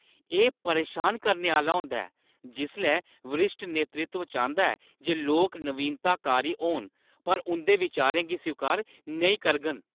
एह् परेशान करने आह्‌ला होंदा ऐ जिसलै वरिश्ठ नेतृत्व चांह्‌दा ऐ जे लोक नवीनताकारी होन पर उंʼदे बिचारें गी स्वीकार नेईं करङन।